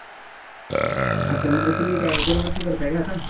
अच्छा, म्हणजे काय तुम्ही दरवर्षी करताय कि काय आता?